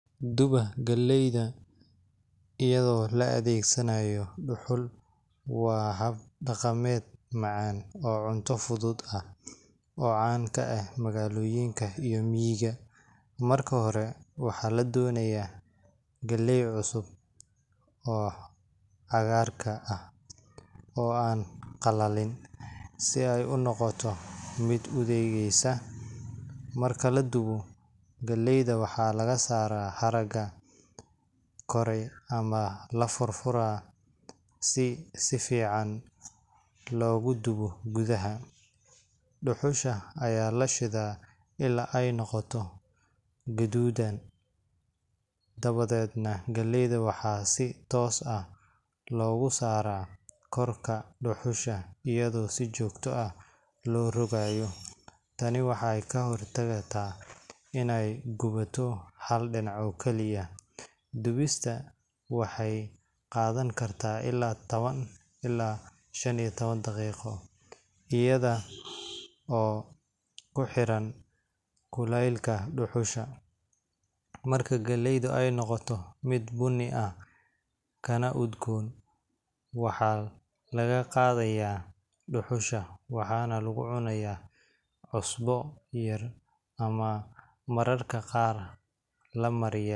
Duba galley iyadoo la adeegsanayo dhuxul waa hab dhaqameed macaan oo cunto fudud ah oo caan ka ah magaalooyinka iyo miyiga. Marka hore, waxaa la dooranayaa galley cusub oo cagaarka ah, oo aan qalalin, si ay u noqoto mid udugeysa marka la dubayo. Galleyda waxaa laga saaraa haragga kore ama la furfuraa si si fiican loogu dubo gudaha. Dhuxusha ayaa la shitaa ilaa ay noqoto gaduudan, dabadeed galleyda waxaa si toos ah loogu saaraa korka dhuxusha iyadoo si joogto ah loo rogayo. Tani waxay ka hortagtaa inay gubato hal dhinac oo kaliya. Dubistu waxay qaadan kartaa ilaa tawan ilaa shan iyo tawan daqiiqo, iyadoo ku xiran kulaylka dhuxusha. Marka galleydu ay noqoto mid bunni ah kana udgoon, waxaa laga qaadayaa dhuxusha waxaana lagu cunaa cusbo yar ama mararka qaar la mariyaa.